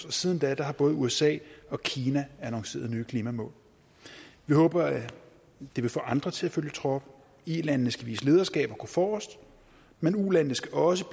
og siden da har både usa og kina annonceret nye klimamål vi håber at det vil få andre til at følge trop ilandene skal vise lederskab og gå forrest men ulandene skal også